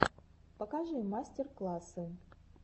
покажи мастер классы